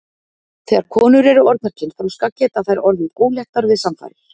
Þegar konur eru orðnar kynþroska geta þær orðið óléttar við samfarir.